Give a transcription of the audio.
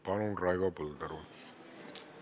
Palun, Raivo Põldaru!